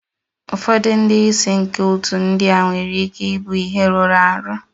Ụfọdụ ndị isi nke otu ndị a nwere ike ịbụ ihe rụrụ arụ.